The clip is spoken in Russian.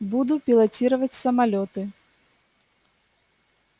буду пилотировать самолёты